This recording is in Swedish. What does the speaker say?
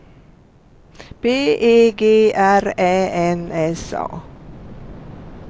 B E G R Ä N S A